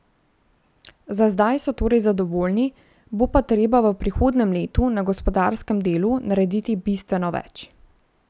Za zdaj so torej zadovoljni, bo pa treba v prihodnjem letu na gospodarskem delu narediti bistveno več.